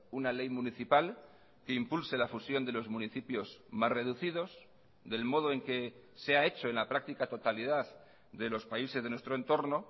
una ley municipal que impulse la fusión de los municipios más reducidos del modo en que se ha hecho en la práctica totalidad de los países de nuestro entorno